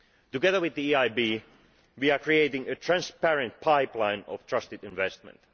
Together with the EIB we are creating a transparent pipeline of trusted investment.